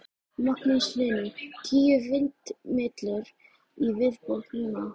Magnús Hlynur: Tíu vindmyllur í viðbót núna?